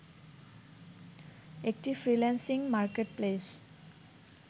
একটি freelancing marketplace